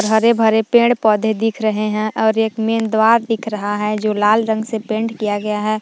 हरे भरे पेड़ पौधे दिख रहे है और एक मेन द्वार दिख रहा है जो लाल रंग से पेंट किया गया है।